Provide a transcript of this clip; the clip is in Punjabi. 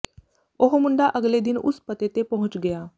ਉਹ ਮੁੰਡਾ ਅਗਲੇ ਦਿਨ ਉਸ ਪਤੇ ਤੇ ਪਹੁੰਚ ਗਿਆ